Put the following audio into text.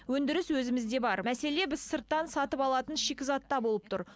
өндіріс өзімізде бар мәселе біз сырттан сатып алатын шикізатта болып тұр